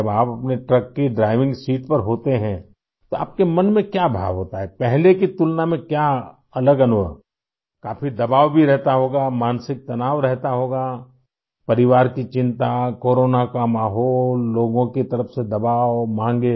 जब आप अपने ट्रक की ड्राइविंग सीट पर होते हैं तो आपके मन में क्या भाव होता है पहले की तुलना में क्या अलग अनुभव काफ़ी दबाव भी रहता होगा मानसिक तनाव रहता होगा परिवार की चिंता कोरोना का माहौल लोगों की तरफ से दबाव माँगे